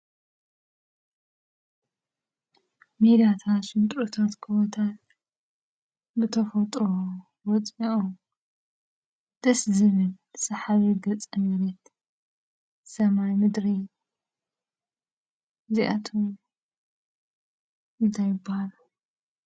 ሜዳታት ሽንጥሮታት ጎቦታት ብተፈጥሮ ወፂኦም ደስ ዝብል፣ ሰሓቢ ገፀ መሬት፣ ሰማይ፣ ምድሪ እዚኣቶም እንታይ ይብሃሉ?